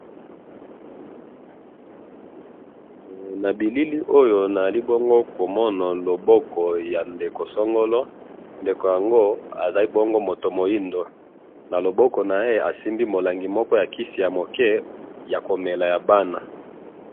he nabilili oyo nazali komona loboko ya ndeko songolo loboko yango azali moto ya mwindu na loboko naye asimbi kisi ya bana